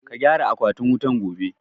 Ka gyara akwatin wutan gobe!